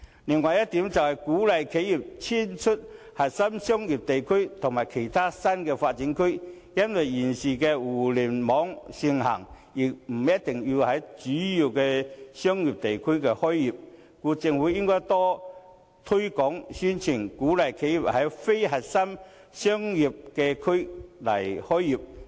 另一點，是鼓勵企業遷出核心商業區到其他新發展區去，現時互聯網盛行，企業不一定要在主要商業區開業，故此政府應多推廣宣傳，提供稅務優惠，鼓勵企業在非核心商業區開業。